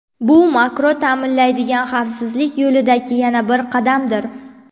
Bu Makro ta’minlaydigan, xavfsizlik yo‘lidagi yana bir qadamdir.